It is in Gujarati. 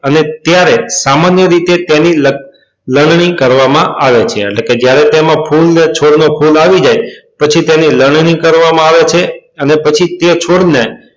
અને ત્યારે સામાન્ય રીતે તેની લનની કરવા માં આવે છે એટલે કે જયારે તેમાં ફૂલ ને ફૂલ નું છોડ આવી જાય પછી તેની લનની કરવા માં આવે છે અને પછી તે છોડ ને